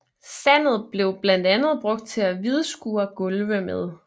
Sandet blev blandt andet brugt til at hvidskure gulve med